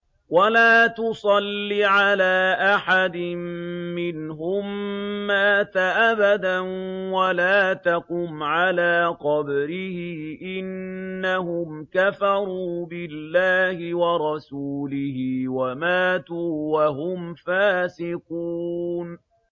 وَلَا تُصَلِّ عَلَىٰ أَحَدٍ مِّنْهُم مَّاتَ أَبَدًا وَلَا تَقُمْ عَلَىٰ قَبْرِهِ ۖ إِنَّهُمْ كَفَرُوا بِاللَّهِ وَرَسُولِهِ وَمَاتُوا وَهُمْ فَاسِقُونَ